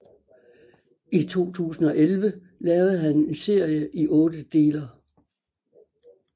I 2011 lavede han en serie i otte deler